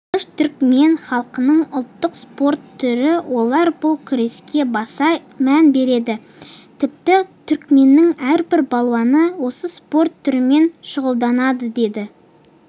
алыш түркмен халқының ұлттық спорт түрі олар бұл күреске баса мән береді тіпті түркменнің әрбір балуаны осы спорт түрімен шұғылданады деді